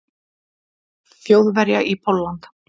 Þjóðverja í Pólland.